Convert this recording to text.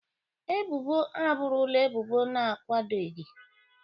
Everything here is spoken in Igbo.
Ebubo abụrụla ebubo na-akwadoghị.